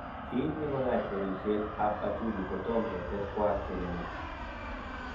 Kiit negoyach porisiet ap hachalu kotom ketet kwak kele ne.